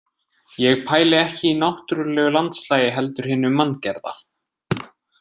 Ég pæli ekki í náttúrulegu landslagi heldur hinu manngerða.